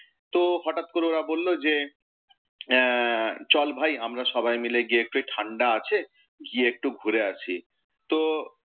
তো হঠাত করে ওরা বলল যে চল ভাই, আমরা সবাই মিলে গিয়ে একটু এই ঠাণ্ডা আছে, গিয়ে একটু ঘুরে আসি।